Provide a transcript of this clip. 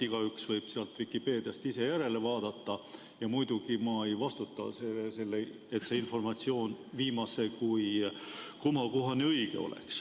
Igaüks võib Vikipeediast ise järele vaadata ja muidugi ma ei vastuta selle eest, et see informatsioon viimase kui komakohani õige oleks.